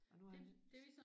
Og nu er han